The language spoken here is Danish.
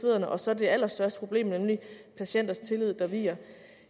og så det allerstørste problem nemlig patienters tillid der viger